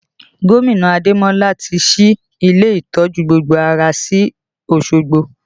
Gomina Ademola ti ṣí ilé ìtọ́jú gbogbo ara sí Osogbo